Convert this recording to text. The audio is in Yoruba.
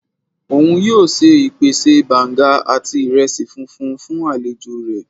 Oun yoo se ipẹtẹ Banga ati iresi funfun fun alejo rẹ